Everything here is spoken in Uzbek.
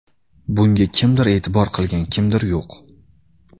Bunga kimdir e’tibor qilgan, kimdir yo‘q.